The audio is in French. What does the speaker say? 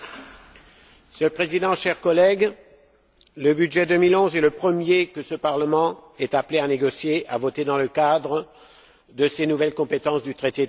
Monsieur le Président, chers collègues, le budget 2011 est le premier que ce Parlement est appelé à négocier, à voter dans le cadre de ses nouvelles compétences du traité de Lisbonne.